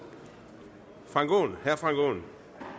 herre frank aaen